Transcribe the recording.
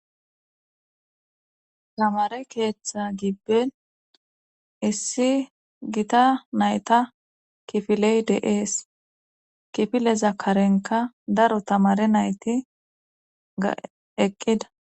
tamare keeththa gibben issi gita nayta kifiley deees kifile zakarenka daro tamare nayti ga eqqida